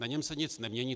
Na něm se nic nemění.